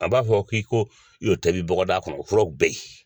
An b'a fɔ k'i k'o tobi bɔgadaga kɔnɔ o furaw bɛ yen.